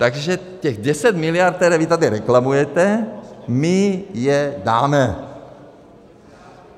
Takže těch deset miliard, které vy tady reklamujete, my je dáme.